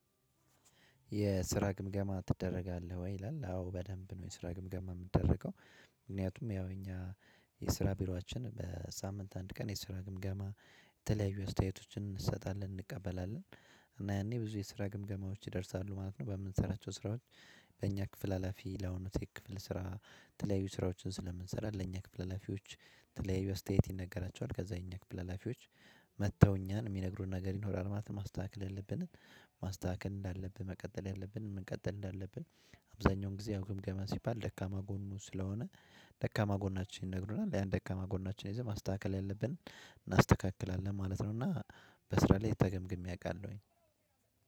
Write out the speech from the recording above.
የስራ ግምገማ ትደረጋለህ ወይ ይላል አዎ በደንብ ነው የስራ ግምገማ ምደረገው። ምክንያቱም ያው እኛ የስራ ቢሮአችን በሳምንት አንድ ቀን የሰራ ግምገማ የተለያዩ አስተያየቶችን እንሰጣለን እንቀበላለን። እና ያኔ ብዙ የስራ ግምገማዎች ይደርሳሉ ማለት ነው። በምንሰራቸው ስራዎች። በእኛ ክፍል ሀላፊ ለሆኑት የክፍል ስራ የተለያዩ ስራዎችን ስለምንሰራ ለኛ ክፍል አላፊዎች። የተለያዩ አስተያየት ይነገራችዋል ከዛ የኛ ክፍል ሀላፊዎች መጥተው እኛን እሚነግሩን ነገር ይኖራል ማለት ነው። ማስተካከል ያለብንን። ማስተካከል እንዳለብን መቀጠል ያለብንን መቀጠል እንዳለብን። አብዛኛውን ጊዜ ያው ግምገማ ሲባል ደካማ ጎኑ ስለሆነ። ደካማ ጎናችን ይነግሩናል ያን ደካማ ጎናችንን ይዘን ማስተካከል ያለብን እናስተካክላለን ማለት ነው። እና በስራ ላይ ተገምግሜ አቃለሁኝ።